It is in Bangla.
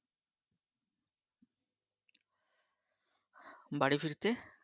বাড়ি ফিরতে?